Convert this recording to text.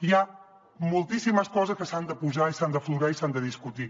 hi ha moltíssimes coses que s’han de posar i s’han d’aflorar i s’han de discutir